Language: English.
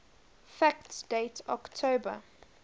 fact date october